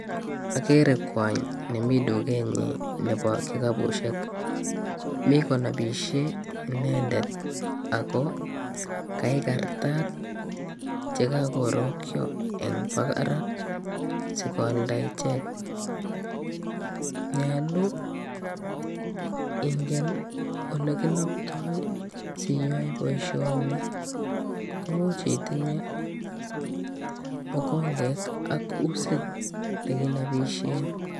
Agere kwony nemi dukenyin nebo kikapusiek. Mi konapisie inendet ago kaigartat che kakorokyo eng barak sikoalda ichek. Nyalu ingen olekinoptoi siyoe boisioni. Komuch itinye mokonget ak usit nekenopisie.